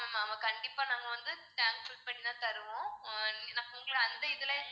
ஆமா ma'am கண்டிப்பா நாங்க வந்து tank full பண்ணிதான் தருவோம் ஆஹ் நீங்க அந்த இதெல்லாம்